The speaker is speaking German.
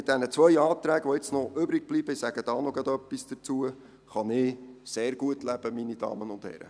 Mit den zwei Anträgen, die jetzt noch übrig bleiben, kann ich sehr gut leben, meine Damen und Herren.